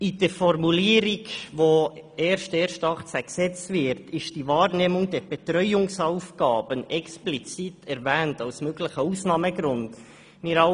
In der Formulierung, welche per 1. 1. 2018 in Kraft tritt, ist «die Wahrnehmung der Betreuungsaufgaben» explizit als möglicher Ausnahmegrund erwähnt.